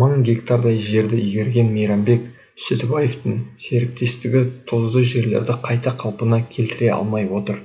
мың гектардай жерді игерген мейрамбек сүтібаевтың серіктестігі тұзды жерлерді қайта қалпына келтіре алмай отыр